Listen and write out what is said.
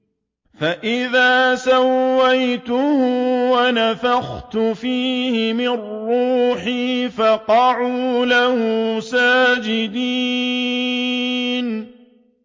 فَإِذَا سَوَّيْتُهُ وَنَفَخْتُ فِيهِ مِن رُّوحِي فَقَعُوا لَهُ سَاجِدِينَ